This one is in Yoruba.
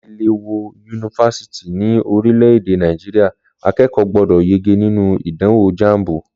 Láti lè wọ yunifásítì ní orílè èdè Nàìjíríà, akẹ́kọ̀ọ́ gbọ́dọ̀ yege nínú ìdánwò jambu